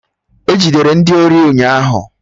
E Jidere ndị ori ụnyaahụ